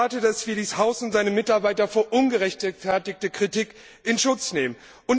Ich erwarte, dass wir dieses Haus und seine Mitarbeiter vor ungerechtfertigter Kritik in Schutz nehmen.